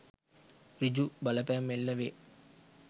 ඍජු බලපෑම් එල්ල වේ